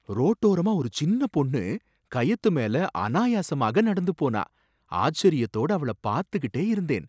ரோட்டோரமா ஒரு சின்ன பொண்ணு கயத்துமேல அனாயாசமாக நடந்து போனா! ஆச்சரியத்தோட அவள பாத்துக்கிட்டே இருந்தேன்.